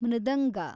ಮೃದಂಗ